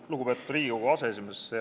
Lugupeetud Riigikogu aseesimees!